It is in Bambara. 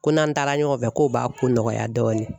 Ko n'an taara ɲɔgɔn fɛ ko b'a ko nɔgɔya dɔɔni.